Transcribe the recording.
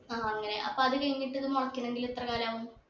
ആ അങ്ങനെ അപ്പൊ അത് കഴിഞ്ഞിട്ട് ഇത് മുളക്കണെങ്കിൽ എത്ര കാലാവും